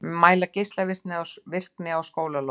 Mæla geislavirkni á skólalóðum